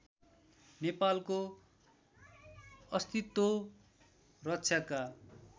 नेपालको अस्तित्व रक्षाका